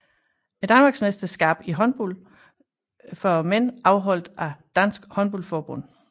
Danmarksmesterskab i håndbold for mænd afholdt af Dansk Håndbold Forbund